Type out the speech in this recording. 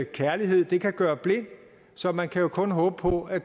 kærlighed kan gøre blind så man kan jo kun håbe på at